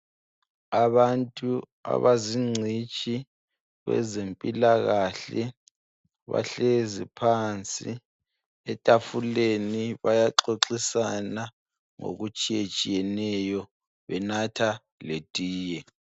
Abantu abazingcitshi kwezempilakahle bahlezi phansi etafuleni bayaxoxisana ngokutshiyatshiyeneyo benatha letiye